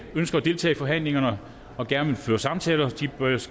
ønsker at deltage i forhandlingerne og gerne vil føre samtaler